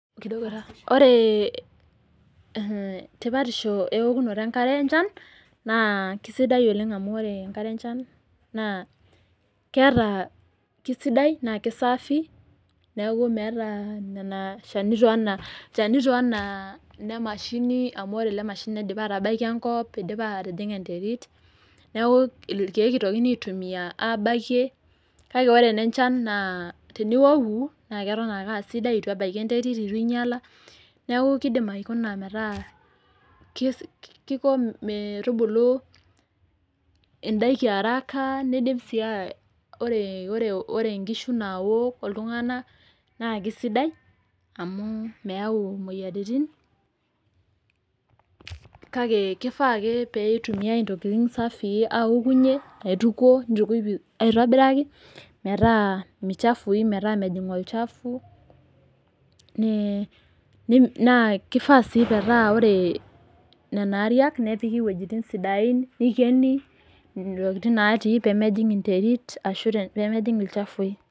Ore tipatisho eokunoto enkare enchan naa sidai oleng' amu ore enkare enchan naa keata, kesidai naa kesaafi, neaku meata nena chanito anaa ilchanito anaa nemashini, amu ore lemashini naa keidipa atabaiki enkop, naa eidipa atijing'a enterit neaku ilkeek eitokini aitumia abakie. Kake ore enenchan naa iok ake aa sidai eitu ebaiki enterit, eitu enyala, neaku keidim aikuna metaa keiko metubuli indaiki araka, neidip sii ore inkishu naaok o iltung'ana naake sidai, amu meyau imoyiaritin , kake keifaa ake pee eitumiyai intokitin safii aokunye, eitukuo, neituko aitobirak, me chafui metaa mejing' olchafu, naa keifaa sii metaa ore nena ariak nepiki iwuejitin sidain, neikeni intokitin nati pee mejing enterit ashu pee mejing' ilchafui.